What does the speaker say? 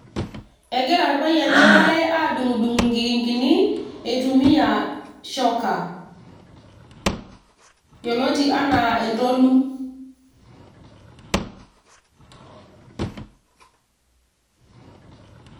egira irpayiani waare aadung' inkikinkini, eitumia shoka ,yioloti anaa entolu.